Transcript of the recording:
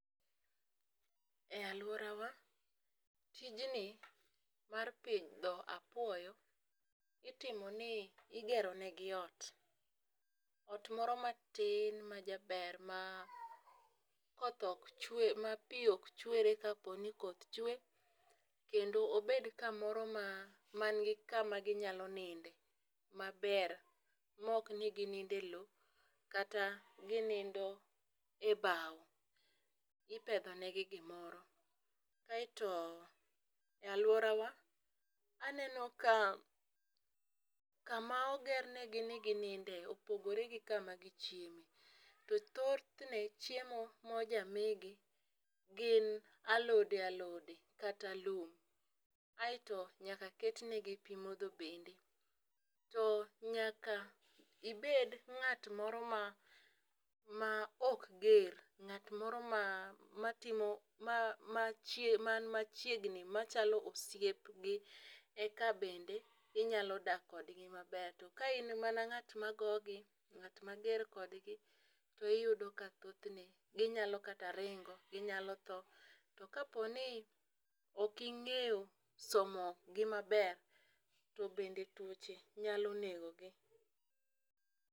E aluorawa tijni mar pidho apuoyo itimo ni igero negi ot. Ot moro matin majaber ma koth ok chwe ma pii ok chwere kaponi koth chwe kendo obed kamoro ma man gi kama ginyalo ninde maber mok ni gininde lowo kata ginindo e bao, ipedho negi gimoro. Aeto a aluorawa aneno ka kama oger negi ni gininde opogore gi kama gichiemo. To thothne chiemo mojamigi gin alode alode kata lum. Aeto nyaka ket negi pii modho bende to nyaka ibed ng'at moro ma ma ok ger ng'at moro ma ma timo ma ma chie man machiegni machalo osiepgi eka bende inyalo dak kodgi maber. To ka in mana ng'at ma gogi ng'at mager kodgi , iyudo ka thothne ginyalo kata ringo ginyalo tho. To kapo ni ok ing'eyo somo gimaber to bende tuoche nyalo negogi.